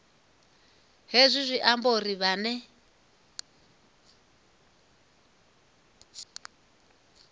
hezwi zwi amba uri vhane